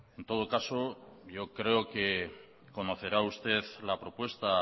en todo caso yo creo que conocerá usted la propuesta